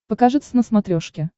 покажи твз на смотрешке